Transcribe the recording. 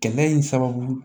Gɛlɛya in sababu